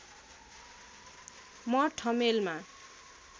म ठमेलमा